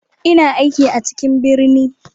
Ina aiki a cikin birni.